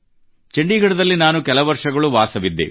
ಚಂಡೀಗಡದಲ್ಲಿ ನಾನು ಕೆಲ ವರ್ಷಗಳು ವಾಸವಿದ್ದೆ